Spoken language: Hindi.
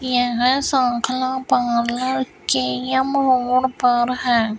यह पार्लर के मोड़ पर हैं।